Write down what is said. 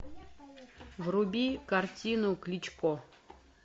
вруби картину кличко